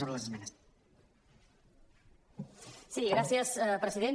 sí gràcies president